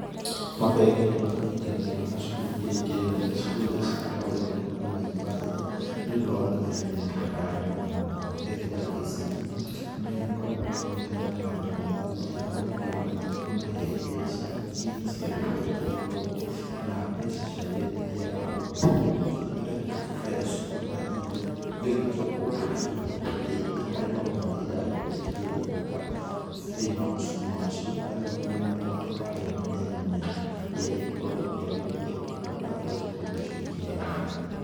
Mabengi nĩ makĩnyitanagĩra na cukuru iria ikĩrĩ nene, cukuru iria cigĩkoragwo igĩgĩtwo ta mayunivathĩtĩ, nĩũndũ wa gũkinyanĩria matabarĩra mwanya mwanya, bengi ta ya KCB nĩyo ĩgĩkoragwo ĩkĩnyitanĩra na cukuru ta ya Nairobi university na ũgakĩona magĩkĩmahe mbeca, hihi cigagĩkorwo cirĩ ngombo kana mbeca cia wendithia wa ũndũ mwega, nĩgetha cukuru ta iria igagĩcoka gũkorwo ikĩhota gwĩteithia harĩ maũndũ marĩa iragĩkorwo ikĩgeria gwĩka thĩ-inĩ wa macukuru macio, arĩ gũkinyanĩria matabarĩra mĩanya mĩanya ĩrĩa ĩngĩgĩkorwo ĩkĩagĩrithia ũtungata ũrĩa cukuru ta icio ikĩheanaga.